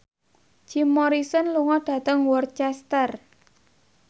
Jim Morrison lunga dhateng Worcester